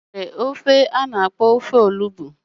Enwere udi ofe onugbo